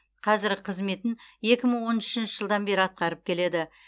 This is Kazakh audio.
қазіргі қызметін екі мың он үшінші жылдан бері атқарып келеді